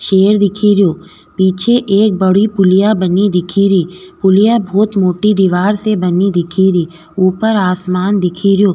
शेर दिखिरिया पीछे एक बड़ी पुलिया बानी दिखिरिया पुलिया बहुत मोटी दिवार से बनिया दिख रियो ऊपर आसमान दिख रो।